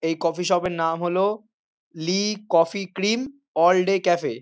এই coffee shop এর নাম হল Lee coffee cream all day cafe.